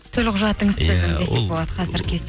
төлқұжатыңыз десек болады қазіргі кезде